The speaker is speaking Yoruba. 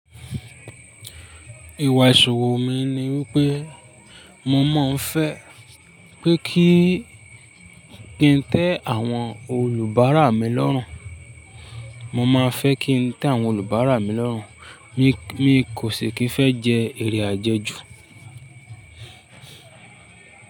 Ìwà ìṣòro mi ni wípé mo máa ń fẹ́ pé kí n tẹ àwọn olùbárà mi lọ́rùn. Mo máa fẹ́ kí n tẹ àwọn olùbárà mi lọ́rùn. Mi kò ṣe kí ń fẹ́ jẹ èrè àjẹjù.